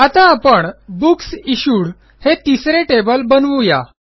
आता आपण books issued हे तिसरे टेबल बनवू या